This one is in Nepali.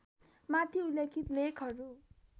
माथि उल्लेखित लेखहरू